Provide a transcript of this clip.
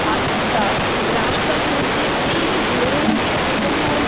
রাস্তা রাস্তার মধ্যে অনেক লোন জনবহন --